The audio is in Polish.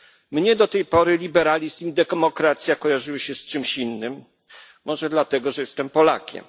Mnie do tej pory liberalizm i demokracja kojarzyły się z czymś innym, może dlatego że jestem Polakiem.